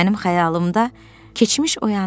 Mənim xəyalımda keçmiş oyandı.